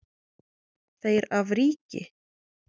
Þeir af ríki